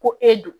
Ko e do